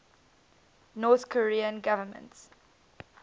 north korean government